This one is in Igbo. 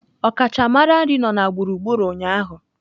Ọkachamara nri nọ na gburugburu ụnyaahụ.